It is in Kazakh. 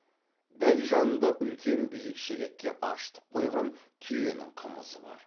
дәл жанында үлкен биік шелекке ашытып қойған түйенің қымызы бар